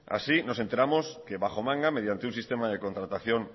así nos enteramos que bajo manga mediante un sistema de contratación